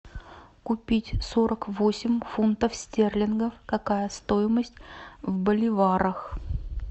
купить сорок восемь фунтов стерлингов какая стоимость в боливарах